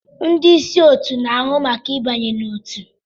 Ndị ịsị otu na-ahụ maka ịba n'otu.